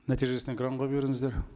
нәтижесін экранға беріңіздер